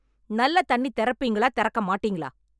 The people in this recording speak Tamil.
நல்ல தண்ணி திறப்பீங்களா திறக்க மாட்டீங்களா